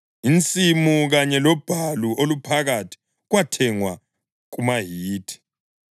Insimu kanye lobhalu oluphakathi kwathengwa kumaHithi.”